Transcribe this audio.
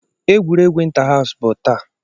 Egwuregwu inter house bụ taa.